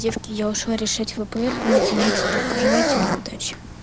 девки я ушла решать впр по математике пожелайте мне удачи